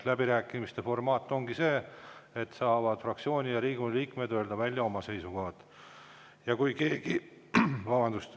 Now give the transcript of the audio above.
Läbirääkimiste formaat ongi selleks, et fraktsioonid ja Riigikogu liikmed saaksid öelda välja oma seisukohad.